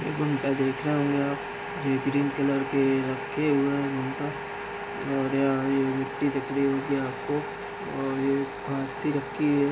देखा ये green colour के रखे हुए है और यहाँ ये मिट्टी दिख रही होगी आपको और ये घाँस सी रखी है।